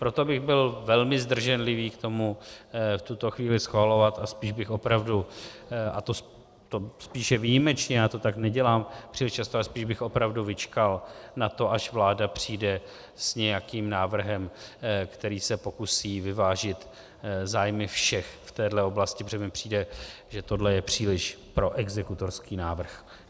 Proto bych byl velmi zdrženlivý k tomu v tuto chvíli schvalovat a spíš bych opravdu, a to spíše výjimečně, já to tak nedělám příliš často, ale spíš bych opravdu vyčkal na to, až vláda přijde s nějakým návrhem, který se pokusí vyvážit zájmy všech v téhle oblasti, protože mi přijde, že tohle je příliš proexekutorský návrh.